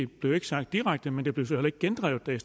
blev ikke sagt direkte men det blev så heller ikke gendrevet da